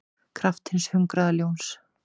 kraft hins hungraða ljóns.